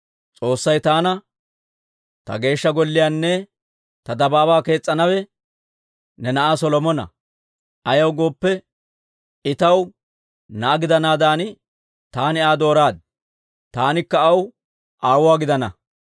«S'oossay taana, ‹Ta Geeshsha Golliyaanne ta dabaabaa kees's'anawe ne na'aa Solomona. Ayaw gooppe, I taw na'aa gidanaadan taani Aa dooraad; taanikka aw aawuwaa gidanawaa.